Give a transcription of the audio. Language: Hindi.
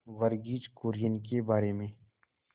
वर्गीज कुरियन के बारे में